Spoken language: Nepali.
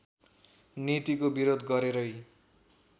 नीतिको विरोध गरेरै